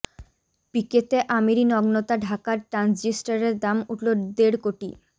পিকেতে আমিরি নগ্নতা ঢাকার ট্রানজিস্টরের দাম উঠল দেড় কোটি